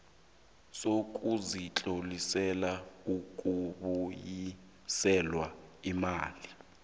sokuzitlolisela ukubuyiselwa iimali